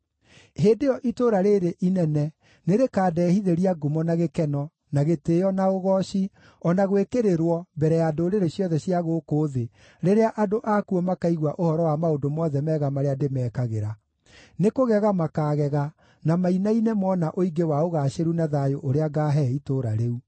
Hĩndĩ ĩyo itũũra rĩĩrĩ inene nĩrĩkandehithĩria ngumo na gĩkeno, na gĩtĩĩo, na ũgooci, o na gwĩkĩrĩrwo mbere ya ndũrĩrĩ ciothe cia gũkũ thĩ rĩrĩa andũ akuo makaigua ũhoro wa maũndũ mothe mega marĩa ndĩmekagĩra; nĩkũgega makaagega na mainaine moona ũingĩ wa ũgaacĩru na thayũ ũrĩa ngaahe itũũra rĩu.’